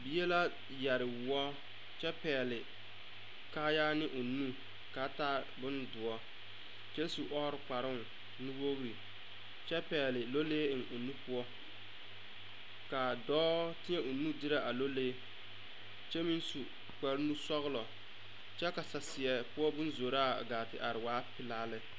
Bie la yɛre woɔ kyɛ pɛgle kaaya ne ka a taa boŋ doɔ kyɛ su ɔɔre kparoo nuwogri kyɛ pɛgle nulee o nu poɔ ka a dɔɔ teɛ o nu derɛ a nulee kyɛ meŋ su kpare nusɔglɔ kyɛ ka saseɛ poɔ boŋ zoraa waa pelaa lɛ.